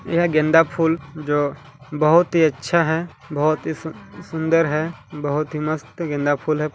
यह गेंदा फूल जो बोहोत ही अच्छा है बोहोत ही सु-सुंदर है बोहोत ही मस्त गेंदा फूल हैं ।